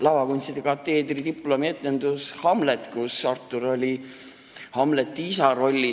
Lavakunstikateedril oli diplomietendus "Hamlet", kus Artur oli Hamleti isa rollis.